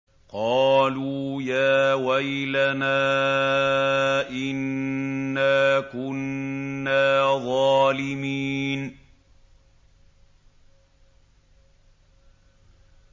قَالُوا يَا وَيْلَنَا إِنَّا كُنَّا ظَالِمِينَ